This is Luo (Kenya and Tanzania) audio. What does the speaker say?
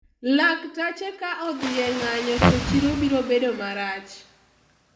laktache ka odhi e ng'anyo to chiro biro bedo marach